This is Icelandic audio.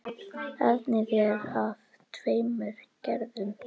Efnið er af tveimur gerðum.